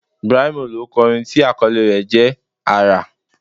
Brymo ló kọ orin tí àkọlé rẹ̀ jẹ́: Àrà